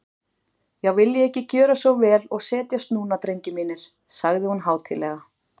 Já, viljiði ekki gjöra svo vel og setjast núna, drengir mínir, sagði hún hátíðlega.